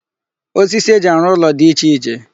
Osisi eji arụ ụlọ di iche iche.